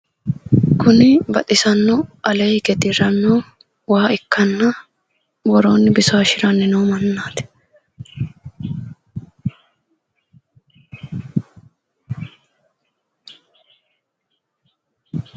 Kuni baxisanno alee hige dirranno waa ikkanna woroonni biso hayishshiranni noo mannaati